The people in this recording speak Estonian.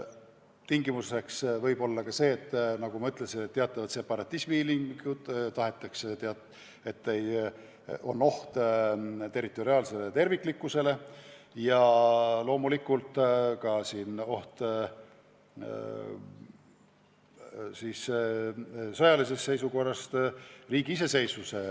Tingimuseks võib olla ka see, nagu ma ütlesin, et on teatavad separatismi ilmingud, ohus on riigi territoriaalne terviklikkus või riigi iseseisvus.